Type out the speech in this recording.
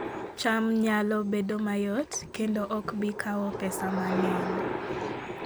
cham nyalo bedo mayot kendo ok bi kawo pesa mang'eny